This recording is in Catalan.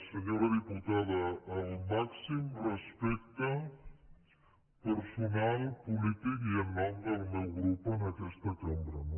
senyora diputada el màxim respecte personal polític i en nom del meu grup en aquesta cambra no